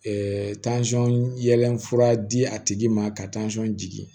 tansɔn yɛlɛn fura di a tigi ma ka jigi